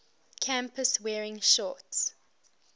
campus wearing shorts